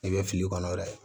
I bɛ fili kɔnɔ yɛrɛ